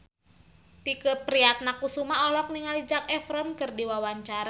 Tike Priatnakusuma olohok ningali Zac Efron keur diwawancara